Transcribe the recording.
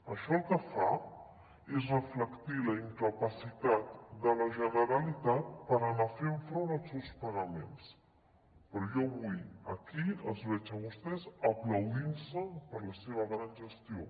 això el que fa és reflectir la incapacitat de la generalitat per anar fent front als seus pagaments però jo avui aquí els veig a vostès aplaudint se per la seva gran gestió